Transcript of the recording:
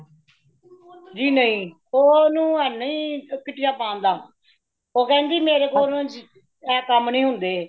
ਜੀ ਨਹੀਂ , ਓਨੁ ਹੋਣੀ kitty ਆ ਪਾਨ ਦਾ , ਉਹ ਕੇਂਦੀ ਮੇਰੇ ਕੋਲੋਂ ਇਹ ਕਾਮ ਨਹੀਂ ਹੋਂਦੇ